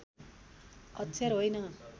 अक्षर होइन